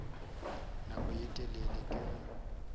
nako ye telele ke ge